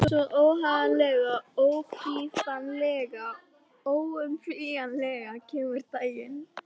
Svo, óhagganlega, óbifanlega, óumflýjanlega kemur dagurinn.